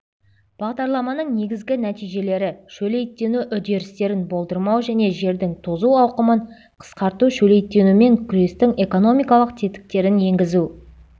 бағдарламаның негізгі нәтижелері шөлейттену үдерістерін болдырмау және жердің тозу ауқымын қысқарту шөлейттенумен күрестің экономикалық тетіктерін енгізу